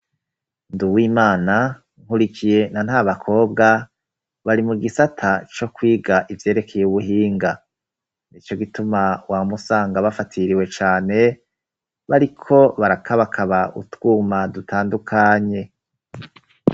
Nd uw imana nkurikiye na nta bakobwa bari mu gisata co kwiga ivyerekeye ubuhinga ni co gituma wa musanga bafatiriwe cane bariko barakabakaba utwuma dutandukanye.